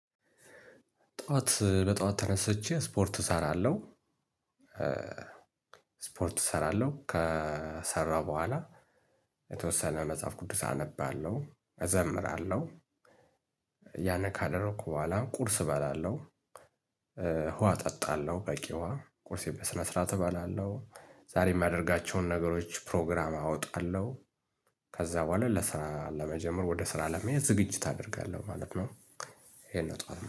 ጥዋት በጠዋት ተነስቼ ስፖርት እሰራለሁ እ ስፖርት እሰራለሁ ከሰራው በሁአላ የተወሰነ መጽሐፍ ቅዱስ አነባለው እዘምራለው ያነካደረኩ በኋላ ቁርስ እበላለሁ። ውሃ እጠጣለሁ በቂ ውሃ ቁርሴ በስነ ስርዓት እበላለሁ። ዛሬ የሚያደርጋቸውን ነገሮች ፕሮግራም አወጣለሁ። ከዛ በኋላ ለስራ ለመጀመር ወደ ስራ ለመሄድ ዝግጅት አደርጋለሁ ማለት ነው። ይሄን ነው ጠዋት